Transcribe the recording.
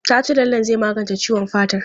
Ta ce lallen zai magance ciwon fatar.